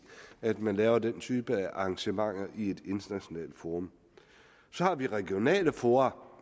at man laver den type af arrangementer i et internationalt forum så har vi regionale fora